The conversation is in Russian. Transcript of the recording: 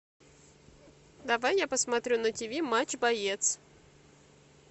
давай я посмотрю на тиви матч боец